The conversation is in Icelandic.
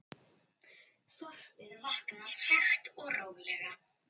Þorpið vaknar hægt og rólega.